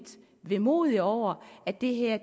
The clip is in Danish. vemodig over at det her